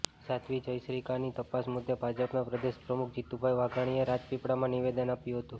સાધ્વી જયશ્રિકાની તપાસ મુદ્દે ભાજપાના પ્રદેશ પ્રમુખ જીતુભાઈ વાઘાણીએ રાજપીપળામાં નિવેદન આપ્યું હતું